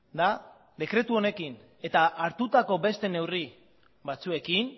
da dekretu honekin eta hartutako beste neurri batzuekin